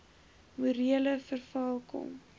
morele verval kom